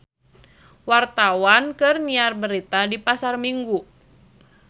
Wartawan keur nyiar berita di Pasar Minggu